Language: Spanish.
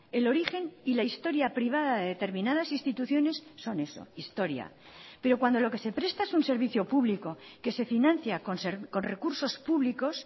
el origen y la historia privada de determinadas instituciones son eso historia pero cuando lo que se presta es un servicio público que se financia con recursos públicos